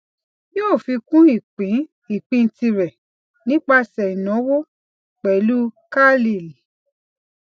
yóò fi kún ìpín ìpín tirẹ nípasẹ ìnáwó pẹlú carlyle